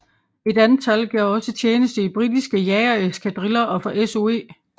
Et antal gjorde også tjeneste i britiske jagereskadriller og for SOE